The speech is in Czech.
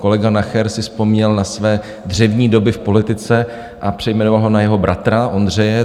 Kolega Nacher si vzpomněl na své dřevní doby v politice a přejmenoval ho na jeho bratra Ondřeje. .